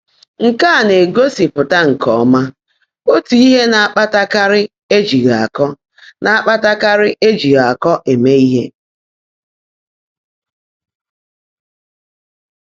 Nkè á ná-égósị́pụ́tá nkè ọ́mã ótú íhe ná-ákpátákárị́ éjìghị́ ákọ́ ná-ákpátákárị́ éjìghị́ ákọ́ émé íhe.